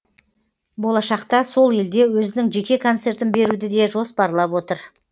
болашақта сол елде өзінің жеке концертін беруді де жоспарлап отыр